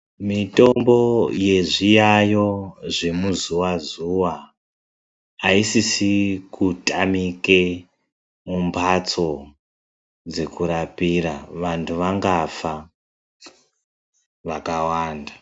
Mitombo yezviyayo zvemu zuwa zuwa ,aisisiri kutamike mumbatso dzekurapira vanthu vangafa vakawanda.